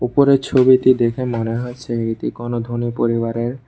উপরের ছবিটি দেখে মনে হচ্ছে এটি কোনো ধনী পরিবারের--